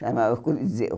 Chamava Coliseu.